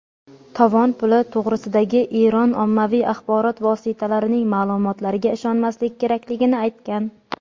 tovon puli to‘g‘risidagi Eron ommaviy axborot vositalarining ma’lumotlariga ishonmaslik kerakligini aytgan.